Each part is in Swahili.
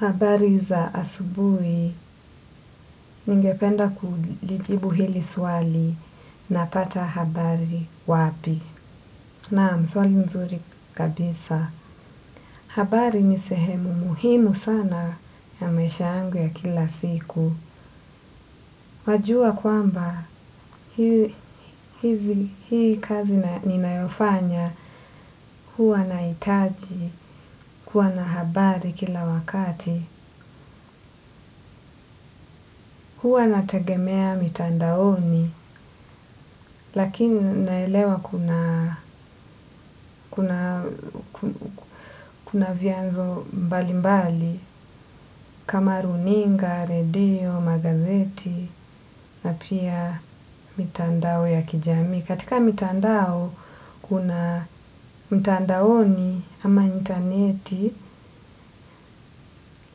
Habari za asubuhi ningependa kulijibu hili swali na pata habari wapi. Naam, swali nzuri kabisa. Habari ni sehemu muhimu sana ya maisha yangu ya kila siku. Wajua kwamba hii kazi ninayofanya huwa nahitaji kuwa na habari kila wakati. Huwa nategemea mitandaoni lakini naelewa kuna kuna vianzo mbalimbali kama runinga redio magazeti na pia mitandao ya kijamii. Katika mitandao kuna mtandaoni ama interneti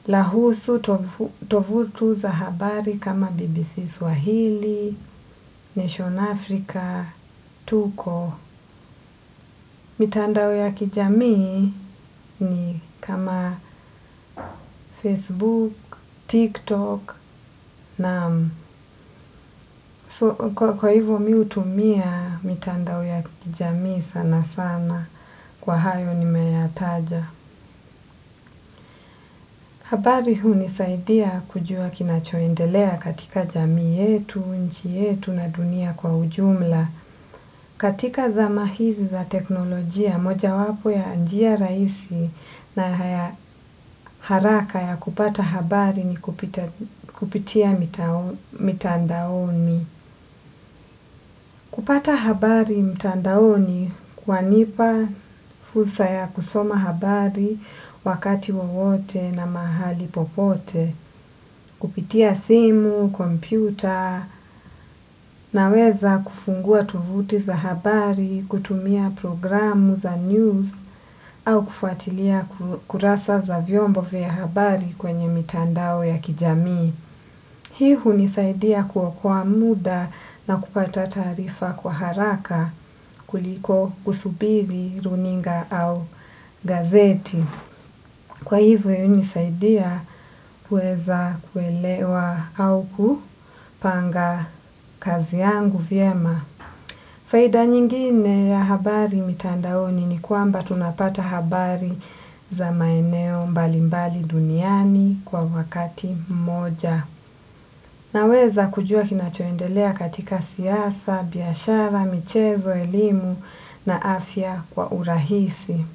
lahusu tovutu za habari kama BBC Swahili, Nation Africa, Tuko. Mitandao ya kijamii ni kama Facebook, TikTok naam kwa hivyo mimi hutumia mitandao ya kijamii sana sana kwa hayo ni meyataja. Habari huni saidia kujua kinachoendelea katika jamii yetu, nchi yetu na dunia kwa ujumla, katika zamahizi za teknolojia, moja wapo ya njia rahisi na haraka ya kupata habari ni kupitia mitandaoni. Kupata habari mtandaoni kwa nipa fursa ya kusoma habari wakati wowote na mahali popote, kupitia simu, kompyuta na weza kufungua tovuti za habari, kutumia programu za news au kufuatilia kurasa za vyombo vya habari kwenye mitandao ya kijamii. Hii hunisaidia kuokoa muda na kupata taarifa kwa haraka kuliko kusubiri, runinga au gazeti. Kwa hivyo hunisaidia kueza kuelewa au kupanga kazi yangu vyema. Faida nyingine ya habari mitandaoni ni kwamba tunapata habari za maeneo mbali mbali duniani kwa wakati mmoja. Naweza kujua kinachoendelea katika siasa, biashara, michezo, elimu na afya kwa urahisi.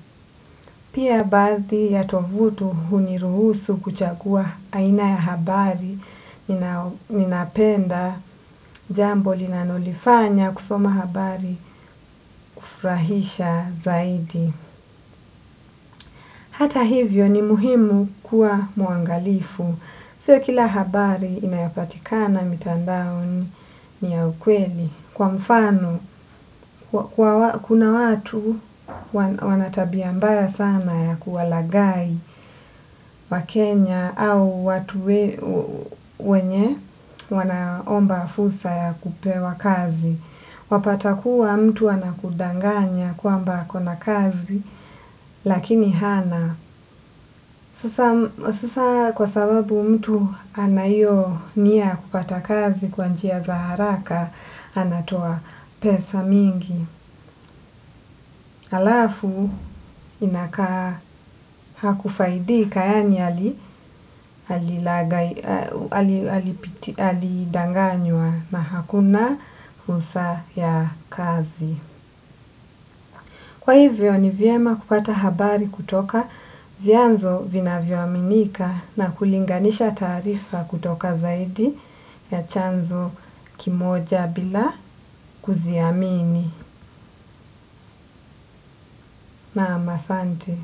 Pia baadhi ya tovuti huniruhusu kuchagua aina ya habari ninapenda jambo linalolifanya kusoma habari kufurahisha zaidi. Hata hivyo ni muhimu kuwa muangalifu. Sio kila habari inayopatikana mitandaoni ni ya ukweli. Kwa mfano, kuna watu wanatabiambaya sana ya kuwalaghai wa Kenya au watu wenye wanaomba fursa ya kupewa kazi. Wapata kuwa mtu anakudanganya kwamba akona kazi lakini hana. Sasa kwa sababu mtu ana hiyo nia ya kupata kazi kwanjia za haraka anatoa pesa mingi. Halafu inakaa hakufaidika yaani ali alidanganywa na hakuna fursa ya kazi. Kwa hivyo ni vyema kupata habari kutoka vyanzo vina vyoaminika na kulinganisha taarifa kutoka zaidi ya chanzo kimoja bila kuziamini. Naam, asante.